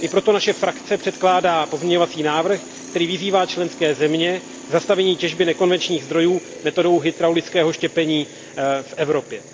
I proto naše frakce předkládá pozměňovací návrh, který vyzývá členské země k zastavení těžby nekonvenčních zdrojů metodou hydraulického štěpení v Evropě.